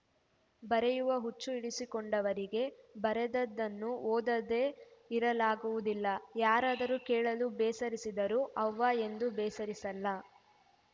ಬರೆಯುವ ಹುಚ್ಚು ಹಿಡಿಸಿಕೊಂಡವರಿಗೆ ಬರೆದದ್ದನ್ನು ಓದದೇ ಇರಲಾಗುವುದಿಲ್ಲ ಯಾರಾದರೂ ಕೇಳಲು ಬೇಸರಿಸಿದರೂ ಅವ್ವ ಎಂದೂ ಬೇಸರಿಸಲ್ಲ